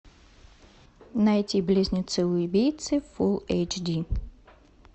найти близнецы убийцы фулл эйч ди